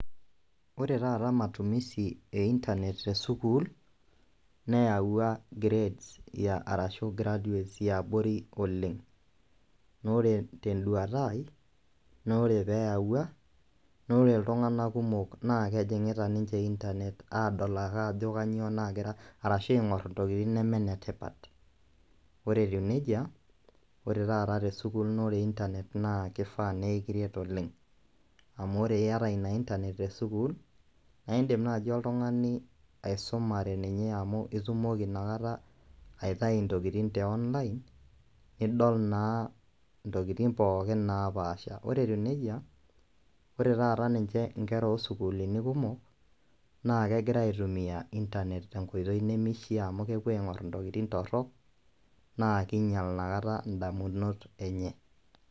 Ore taata matumizi e internet e sukuul neyaua grades arashu graduates e abori oleng' naa ore pee eyaua naa ore itung'anak kumok naa kejing'ita ninche internet aing'orr intokitiin nemenetipat, ore etiu neija naa ore taata te sukuul naa ore internet naa kifaa pee kiret oleng' amu ore iata ina internet e sukuul iindim naaji oltung'ani aisumare ninye amu itumoki inakata aitayu intokitin te online, nidol naa intokitin pookin naapaasha ore etiu neija ore taata ninche nkerra oosukuuulini kumok naa kegirai aitumia internet tenkoitoi nemishiaa amu kiing'orr intokitin torrok naa kiinyial indamunot enye.